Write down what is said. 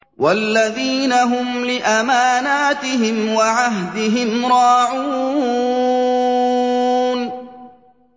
وَالَّذِينَ هُمْ لِأَمَانَاتِهِمْ وَعَهْدِهِمْ رَاعُونَ